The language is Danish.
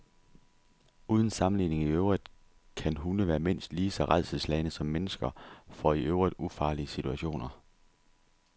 Uden sammenligning i øvrigt kan hunde være mindst lige så rædselsslagne som mennesker for i øvrigt ufarlige situationer.